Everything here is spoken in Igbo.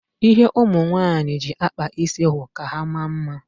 Ihe ụmụ nwaanyị ji akpa isi wụ ka ha maa mma.